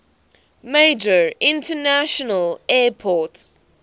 major international airport